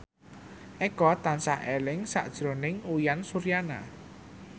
Eko tansah eling sakjroning Uyan Suryana